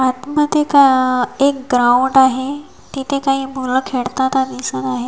आतमध्ये का एक ग्राउंड आहे तिथे काही मुलं खेळताना दिसत आहेत.